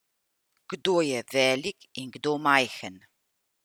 Kdo je velik in kdo majhen?